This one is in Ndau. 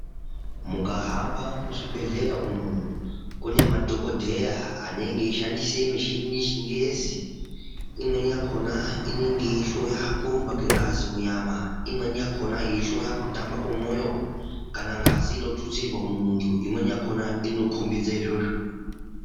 Mukahamba muzvibhedhlera umu, kune madhokodheya anenge eishandise mishini yechingezi, inenge ichihloya kurumba kengazi munyama. Imweni yakhona yeihloya kutamba komwoyo ,kana ngazi inotutsirwa , imweni yakhona inokhombidze izvozvo.